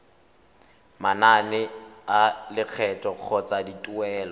manane a lekgetho kgotsa dituelo